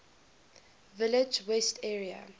village west area